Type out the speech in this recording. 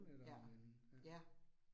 Ja, ja